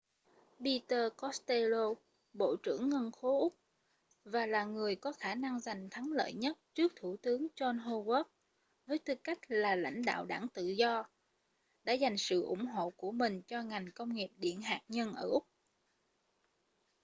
peter costello bộ trưởng ngân khố úc và là người có khả năng giành thắng lợi nhất trước thủ tướng john howard với tư cách là lãnh đạo đảng tự do đã dành sự ủng hộ của mình cho ngành công nghiệp điện hạt nhân ở úc